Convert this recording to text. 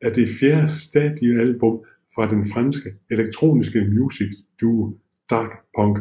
er det fjerde studiealbum fra den franske elektroniske musikduo Daft Punk